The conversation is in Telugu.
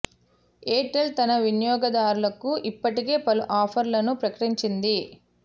ఎయిర్ టెల్ తన వినియోగదారులకు ఇప్పటికే పలు ఆఫ ర్లను ప్రకటించింది